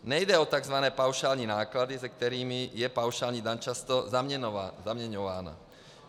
Nejde o tzv. paušální náklady, se kterými je paušální daň často zaměňována.